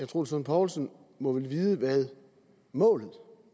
troels lund poulsen må vel vide hvad målet